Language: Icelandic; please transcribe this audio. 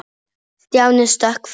Stjáni stökk fram.